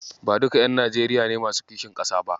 Ba duka ƴan Najeriya ne masu kishin ƙasa ba.